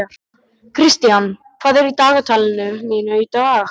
Kristian, hvað er í dagatalinu mínu í dag?